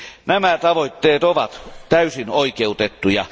Nämä tavoitteet ovat täysin oikeutettuja.